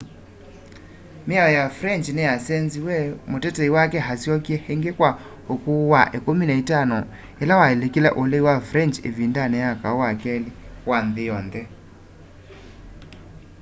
miao ya french niyasenziw'e mutetei wake asyokie ingi kwa ukuu wa 15 ila walikile ulei wa french ivindani ya kau wa keli wa nthi yonthe